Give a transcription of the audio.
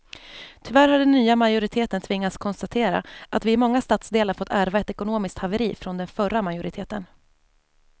Tyvärr har den nya majoriteten tvingats konstatera att vi i många stadsdelar fått ärva ett ekonomiskt haveri från den förra majoriteten.